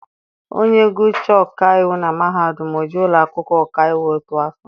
Onye gụchaa ọkaiwu na mahadum, o jee ụlọakwụkwọ ọkaiwu otu afọ.